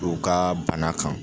Dɔw ka bana kan